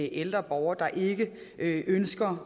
ældre borger der ikke ønsker